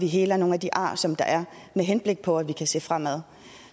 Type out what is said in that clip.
heler nogle af de ar som der er med henblik på at vi kan se fremad